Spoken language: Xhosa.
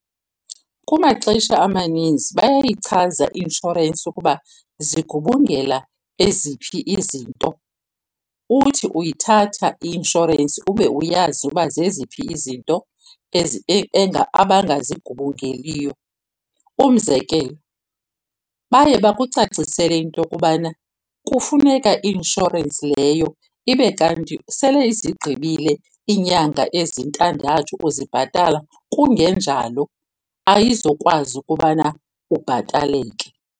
Kumaxesha amaninzi bayayichaza i-inshorensi ukuba zigubungela eziphi izinto, uthi uyithatha i-inshorensi ube uyazi uba zeziphi izinto abangazigubungeliyo. Umzekelo, baye bakucacisele into yokubana kufuneka i-inshorensi leyo ibe kanti sele izigqibile iinyanga ezintandathu ukuzibhatala, kungenjalo ayizukwazi ukubana ubhataleke.